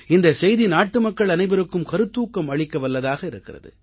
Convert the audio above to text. இந்தச் செய்தி நாட்டுமக்கள் அனைவருக்கும் கருத்தூக்கம் அளிக்கவல்லதாக இருக்கிறது